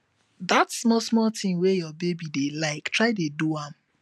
dat smal smal tin wey yur baby dey lyk try dey do am